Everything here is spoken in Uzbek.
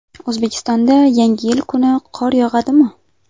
O‘zbekistonda Yangi yil kuni qor yog‘adimi?.